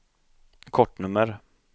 kortnummer